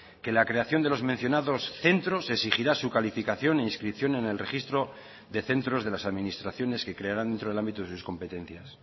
que la creación de los mencionados centros exigirá su calificación e inscripción en el registro de centros de las administraciones que crearán dentro del ámbito de sus competencias